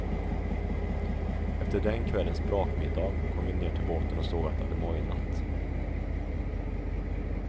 Efter den kvällens brakmiddag kom vi ner till båten och såg att det hade mojnat.